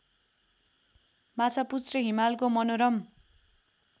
माछापुच्छ्रे हिमालको मनोरम